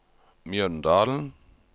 Mjøndalen